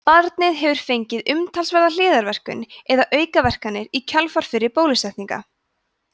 barnið hefur fengið umtalsverða hliðarverkun eða aukaverkanir í kjölfar fyrri bólusetninga